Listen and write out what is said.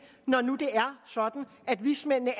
når nu det er sådan at vismændene